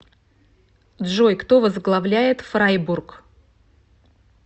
джой кто возглавляет фрайбург